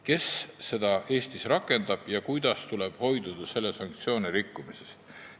Kes seda seadust Eestis rakendab ja kuidas saaks hoiduda sanktsioone rikkumast?